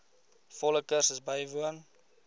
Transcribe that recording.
volle kursus bywoon